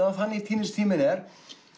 af þannig týnist tíminn er